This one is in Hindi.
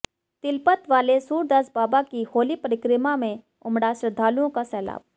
तिलपत वाले सूरदास बाबा की होली परिक्रमा में उमड़ा श्रद्धालुओं का सैलाब